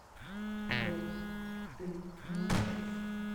сбер ты не